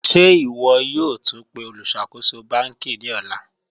Ṣẹ̀ ìwọ̀ yòó túń pẹ̀ olùṣakóṣò bankí ní òlà?